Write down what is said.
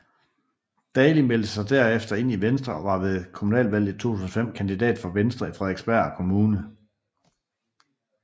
Dali meldte sig derefter ind i Venstre og var ved kommunalvalget 2005 kandidat for Venstre i Frederiksberg kommune